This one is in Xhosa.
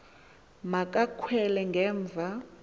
ma kakhwele ngemva